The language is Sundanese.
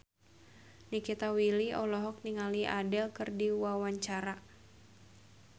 Nikita Willy olohok ningali Adele keur diwawancara